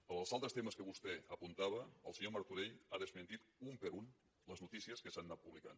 dels altres temes que vostè apuntava el senyor martorell ha desmentit una per una les notícies que s’han anat publicant